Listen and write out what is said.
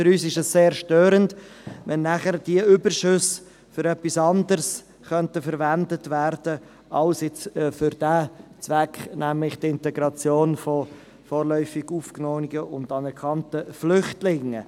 Für uns ist es sehr störend, wenn die Überschüsse für etwas anderes verwendet werden könnten als für diesen Zweck, nämlich die Integration von vorläufig Aufgenommenen und anerkannten Flüchtlingen.